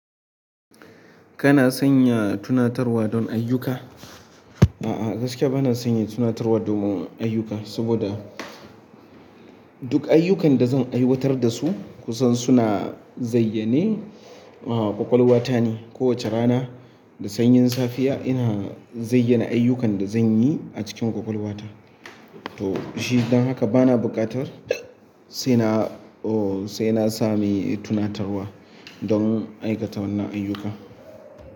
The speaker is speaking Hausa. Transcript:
Kana sanya tunatarwa don ayyuka? A'a, gaskiya bana sanya tunatarwa domin ayyuka. Saboda duk ayyukan da zan aiwatar da su, kusan suna zayyane, ƙwaƙwalwata ne. Kowacce rana da sanyin safiya ina zayyana ayyukan sa zanyi a cikin ƙwaƙwalwata to shi don haka bana buƙatar sai na, oh, sai na sami tunatarwa don aikata wannan ayyuka.